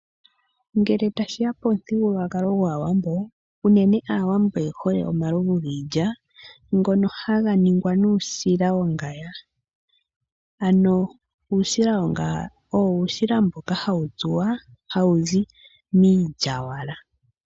Ngele tashiya pomuthigululwakalo gwaawambo, uunene aawambo oyehole omalovu giilya ngono haga ningwa nuusila wongaya ano uusila wongaya owo uusila mboka hawu tsuwa hawu zi miilyawala.